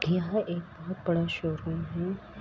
यह एक बड़ा सा शोरूम है।